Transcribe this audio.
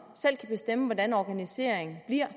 selv kan bestemme hvordan organiseringen bliver